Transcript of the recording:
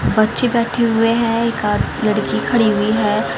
बच्चे बैठे हुए हैं एक आद लड़की खड़ी हुई है।